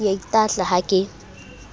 ke a itahla ha ke